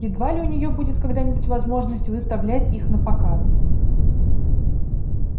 едва ли у неё будет когда-нибудь возможность выставлять их напоказ